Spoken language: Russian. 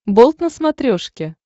болт на смотрешке